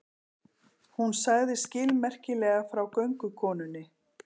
Hún sagði skilmerkilega frá göngukonunni.